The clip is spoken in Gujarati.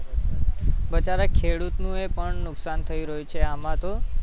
બચારા ખેડૂતનું એ પણ નુકસાન થઇ રહ્યું છે આમાં તો